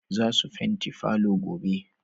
Zasu fenti palour gobe